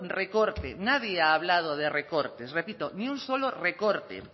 recorte nadie ha hablado de recortes repito ni solo un recorte